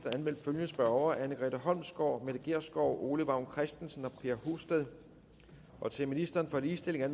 er anmeldt følgende spørgere anne grete holmsgaard mette gjerskov ole vagn christensen per husted til ministeren for ligestilling er